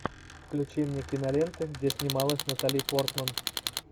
включи мне киноленты где снималась натали портман